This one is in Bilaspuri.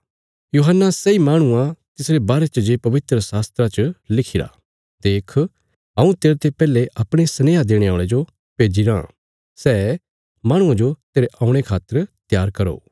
यूहन्ना सैई माहणु आ तिसरे बारे च जे पवित्रशास्त्रा च लिखिरा देख हऊँ तेरते पैहले अपणे सनेहा देणे औल़े जो भेज्जी राँ सै माहणुआं जो तेरे औणे खातर त्यार करो